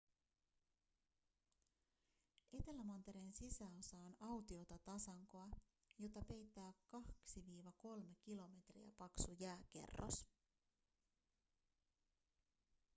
etelämantereen sisäosa on autiota tasankoa jota peittää 2-3 kilometriä paksu jääkerros